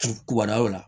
K'o la